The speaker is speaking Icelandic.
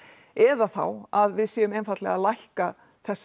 eða þá að við séum einfaldlega að lækka þessa